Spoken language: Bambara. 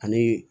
Ani